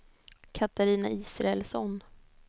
Katarina Israelsson